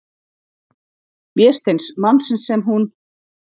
Vésteins, mannsins sem hún-